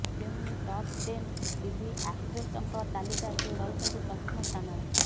ତେଣୁ ଏହି top ten TV ଆକ୍ଟ୍ରେସଙ୍କ ତାଲିକା ସେ ରହିଛନ୍ତି ପ୍ରଥମ ସ୍ଥାନରେ